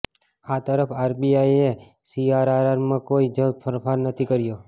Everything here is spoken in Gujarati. આ તરફ આરબીઆઈએ સીઆરઆરમાં કોઈ જ ફેરફાર નથી કર્યો